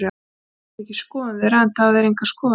Þó er þetta ekki skoðun þeirra, enda hafa þeir engar skoðanir.